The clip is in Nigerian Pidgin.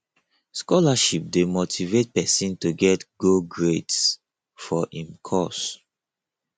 scholarship de motivate persin to get go grades for im course